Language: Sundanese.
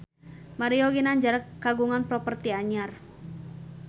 Mario Ginanjar kagungan properti anyar